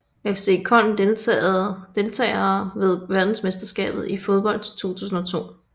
FC Köln Deltagere ved verdensmesterskabet i fodbold 2002